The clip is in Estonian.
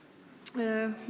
Aitäh!